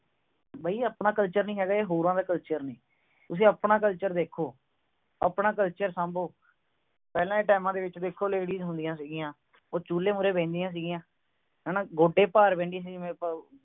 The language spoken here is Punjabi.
ਬਈ ਆਪਣਾ culture ਨਹੀਂ ਹੈਗਾ ਇਹ ਹੋਰਾਂ ਦਾ culture ਹੈ ਤੁਸੀਂ ਆਪਣਾ culture ਦੇਖੋ ਆਪਣਾ culture ਸਾਬੋ ਪਹਿਲਾਂ ਦੇ times ਦੇ ਵਿੱਚ ਵੇਖੋ ladies ਹੁੰਦੀਆਂ ਸੀਗੀਆਂ ਉਹ ਚੁੱਲ੍ਹੇ ਮੂਹਰੇ ਬਹਿੰਦੀਆਂ ਸੀ ਗਿਆ ਹੈ ਨਾ ਉਹ ਗੋਡੇ ਭਾਰ ਬਹਿੰਦੀਆਂ ਸੀ ਗਿਆ ਮੇਰੇ